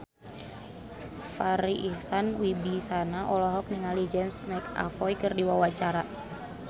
Farri Icksan Wibisana olohok ningali James McAvoy keur diwawancara